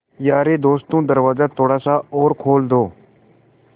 यारे दोस्तों दरवाज़ा थोड़ा सा और खोल दो